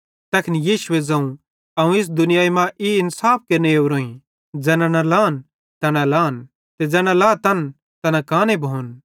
तैखन यीशुए ज़ोवं अवं इस दुनियाई मां ई इन्साफ केरने ओरोईं ज़ैना न लान तैना लान ते ज़ैना लातन तैना काने भोन